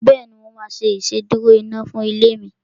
Bẹ́ẹ̀ni, mo máa ṣe ìsedúró iná fún ilé mi